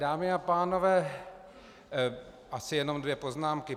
Dámy a pánové, asi jednom dvě poznámky.